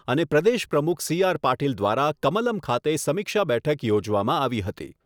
અને પ્રદેશ પ્રમુખ સીઆર પાટીલ દ્વારા કમલમ ખાતે સમીક્ષા બેઠક યોજવામાં આવી હતી.